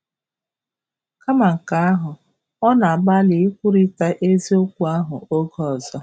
Kama nke ahụ, ọ na-agbalị ikwurịta isiokwu ahụ oge ọzọ.